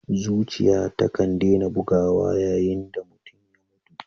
Zuciya takan dena bugawa yayin da mutum ya mutu.